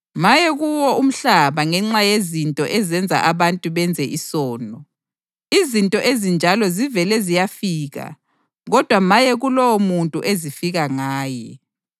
Maye kuwo umhlaba ngenxa yezinto ezenza abantu benze isono! Izinto ezinjalo zivele ziyafika kodwa maye kulowomuntu ezifika ngaye!